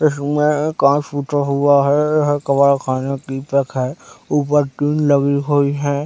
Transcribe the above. इसमें एक काँच टूटा हुआ है यह कबाड़ खाने की जगह है ऊपर ग्रिल लगी हुई है।